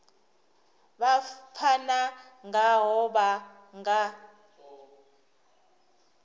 vha pfana ngaho vha nga